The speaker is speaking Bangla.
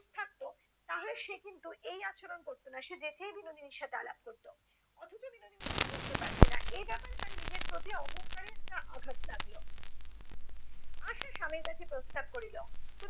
থাকত তাহলে সে কিন্তু এই আচরণ করত না। সে যেচেই বিনোদিনীর সাথে আলাপ করত। অথচ বিনোদিনী তাকে বুঝতে পারছে না। এই ব্যাপারে তার নিজের প্রতি অহঙ্কারে একটা আঘাত লাগল। আশা স্বামীর কাছে প্রস্তাব করিল,